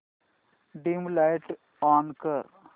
dim light on कर